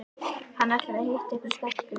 Hann ætlar að hitta einhverja stelpu